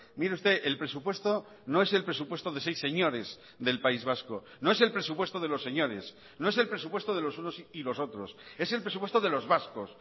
mire usted el presupuesto no es el presupuesto de seis señores del país vasco no es el presupuesto de los señores no es el presupuesto de los unos y los otros es el presupuesto de los vascos